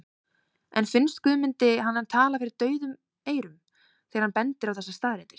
En finnst Guðmundi hann tala fyrir daufum eyrum þegar hann bendir á þessar staðreyndir?